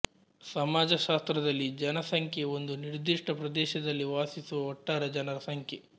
ಸಮಾಜಶಾಸ್ತ್ರದಲ್ಲಿ ಜನಸಂಖ್ಯೆ ಒಂದು ನಿರ್ದಿಷ್ಟ ಪ್ರದೇಶದಲ್ಲಿ ವಾಸಿಸುವ ಒಟ್ಟಾರೆ ಜನರ ಸಂಖ್ಯೆ